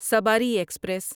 Sabari express